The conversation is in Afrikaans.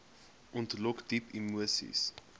ontlok diep emoseis